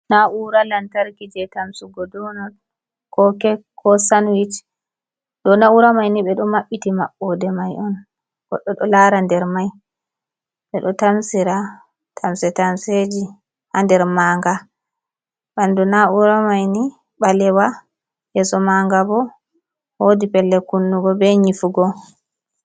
Na'ura lantarki je tamsugo donot ko kek ko sanwich ɗo na'ura maini ɓeɗo maɓɓiti maɓɓoɗe mai on goɗɗo ɗo lara nder mai ɓeɗo tamsira tamse tamse ji ha nder maa nga ɓandu na'ura maini ɓalewa ƴeso maa ngabo woodi pellel kunnugo be nƴifugo